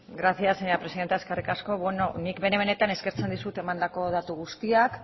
gracias señora presidenta eskerrik asko nik benetan eskertzen dizut emandako datu guztiak